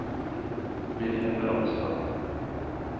Wilhelm Ramstad